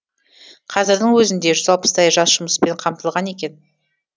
қазірдің өзінде жүз алпыстай жас жұмыспен қамтылған екен